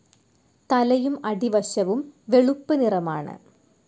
തലയും അടിവശവും വെളുപ്പ് നിറമാണ്.